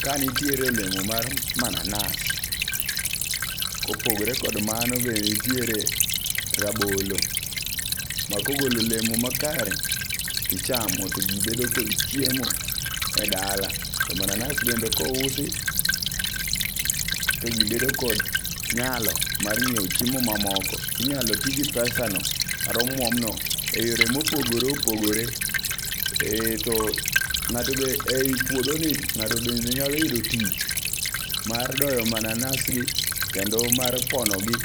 Ka nitiere olemo mar mananas. Kopogore kod mano be nitiere rabolo ma kogolo olemo makare tichamo to jii bedo kod chiemo e dala .To mananas bende kousi to jii bedo kod nyalo mar nyiewo chiemo mamoko tinyalo tii gi pesa no kata omwom no e yore mopogore opogore to ng'ato be ei puodho ni ng'ato be nyalo yudo tich mar doyo mananas gi kendo mar pono gi.